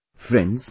Friends,